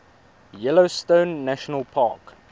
yellowstone national park